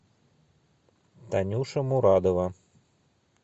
танюша мурадова